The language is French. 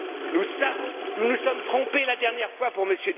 Nous savons que nous nous sommes trompés la dernière fois pour M.